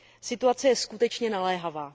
Situace je skutečně naléhavá.